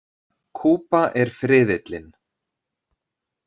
Kuba er friðillinn.